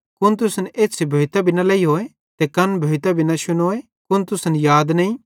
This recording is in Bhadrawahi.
कुन तुसन एछ़्छ़ी भोइतां भी न लेइहोए ते कन भोइतां भी न शुनोए कुन तुसन याद नईं